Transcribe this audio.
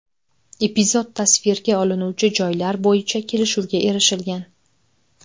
Epizod tasvirga olinuvchi joylar bo‘yicha kelishuvga erishilgan.